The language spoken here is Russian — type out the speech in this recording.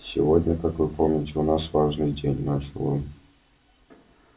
сегодня как вы помните у нас важный день начал он